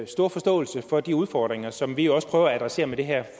store forståelse for de udfordringer som vi jo også prøver at adressere med det her